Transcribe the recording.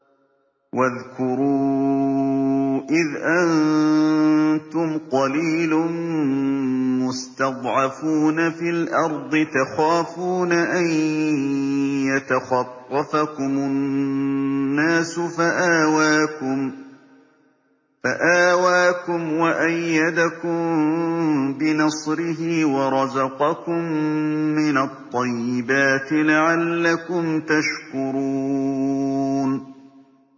وَاذْكُرُوا إِذْ أَنتُمْ قَلِيلٌ مُّسْتَضْعَفُونَ فِي الْأَرْضِ تَخَافُونَ أَن يَتَخَطَّفَكُمُ النَّاسُ فَآوَاكُمْ وَأَيَّدَكُم بِنَصْرِهِ وَرَزَقَكُم مِّنَ الطَّيِّبَاتِ لَعَلَّكُمْ تَشْكُرُونَ